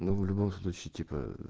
но в любом случае типа